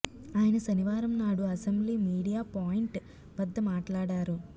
ఆయన శనివారం నాడు అసెంబ్లీ మీడియా పాయింట్ వద్ద మాట్లాడారు